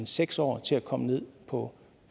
seks år til at komme ned på